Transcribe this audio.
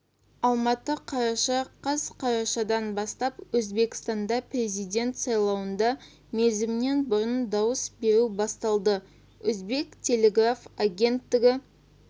алматы қараша қаз қарашадан бастап өзбекстанда президен сайлауныда мерзімінен бұрын дауыс беру басталады өзбек телеграф агенттігі